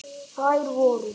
Þær voru